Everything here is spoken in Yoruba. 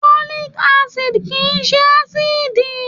Folic Acid kìí ṣe ásíìdì.